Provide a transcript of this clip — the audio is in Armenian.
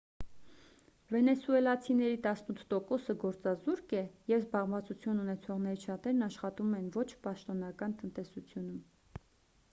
վենեսուելացիների տասնութ տոկոսը գործազուրկ է և զբաղվածություն ունեցողներից շատերն աշխատում են ոչ պաշտոնական տնտեսությունում